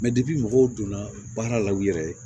mɔgɔw donna baara la u yɛrɛ ye